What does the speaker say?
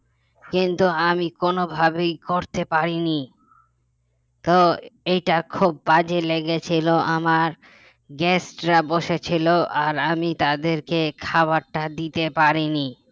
কিন্তু আমি কোন ভাবেই করতে পারিনি তো এইটা খুব বাজে লেগেছিল আমার guest রা বসেছিল আর আমি তাদেরকে খাবারটা দিতে পারিনি